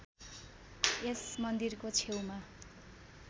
यस मन्दिरको छेउमा